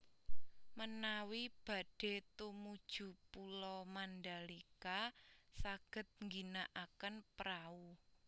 Menawi badhe tumuju Pulo Mandalika saged ngginakaken prahu